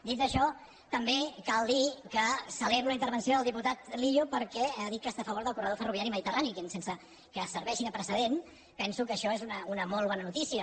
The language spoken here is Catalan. dit això també cal dir que celebro la intervenció del diputat millo perquè ha dit que està a favor del corredor ferroviari mediterrani que sense que serveixi de precedent penso que això és una molt bona notícia